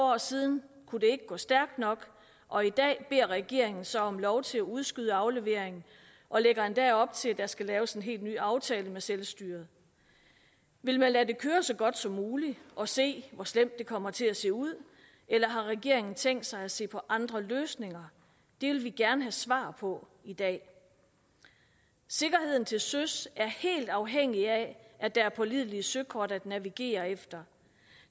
år siden kunne det ikke gå stærkt nok og i dag beder regeringen så om lov til at udskyde afleveringen og lægger endda op til at der skal laves en helt ny aftale med selvstyret vil man lade det køre så godt som muligt og se hvor slemt det kommer til at se ud eller har regeringen tænkt sig at se på andre løsninger det vil vi gerne have svar på i dag sikkerheden til søs er helt afhængig af at der er pålidelige søkort at navigere efter